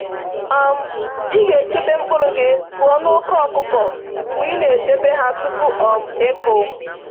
um Ị ga-echebe mkpụrụ gị pụọ na oke ọkụkọ mgbe ị na-edebe ha tupu um ịkụ